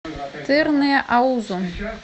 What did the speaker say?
тырныаузу